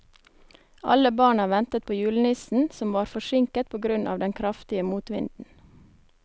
Alle barna ventet på julenissen, som var forsinket på grunn av den kraftige motvinden.